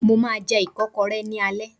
Mo máa jẹ ìkọ́kọrẹ́ ní alẹ́